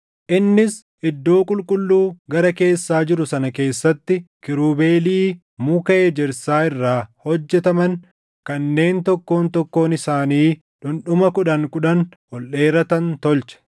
Innis iddoo qulqulluu gara keessaa jiru sana keessatti kiirubeelii muka ejersaa irraa hojjetaman kanneen tokkoon tokkoon isaanii dhundhuma kudhan kudhan ol dheeratan tolche.